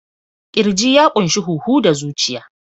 Ƙirji ya ƙunshi huhu da zuciya.